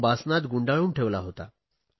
तो बासनात गुंडाळून ठेवला होता